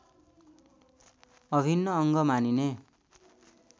अभिन्न अङ्ग मानिने